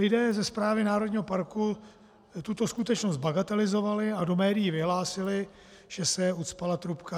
Lidé ze správy národního parku tuto skutečnost bagatelizovali a do médií vyhlásili, že se ucpala trubka.